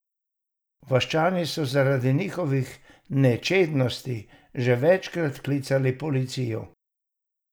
Vaščani so zaradi njihovih nečednosti že večkrat klicali policijo.